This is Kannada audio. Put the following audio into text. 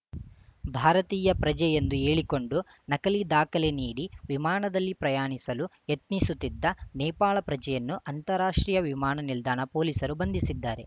ಭಾರತೀಯ ಪ್ರಜೆ ಎಂದು ಹೇಳಿಕೊಂಡು ನಕಲಿ ದಾಖಲೆ ನೀಡಿ ವಿಮಾನದಲ್ಲಿ ಪ್ರಯಾಣಿಸಲು ಯತ್ನಿಸುತ್ತಿದ್ದ ನೇಪಾಳ ಪ್ರಜೆಯನ್ನು ಅಂತಾರಾಷ್ಟ್ರೀಯ ವಿಮಾನ ನಿಲ್ದಾಣ ಪೊಲೀಸರು ಬಂಧಿಸಿದ್ದಾರೆ